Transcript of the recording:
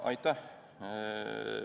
Aitäh!